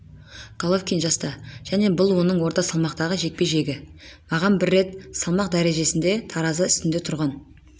головкин жаста және бұл оның орта салмақтағы жекпе-жегі маған рет бір салмақ дәрежесінде таразы үстіне тұрған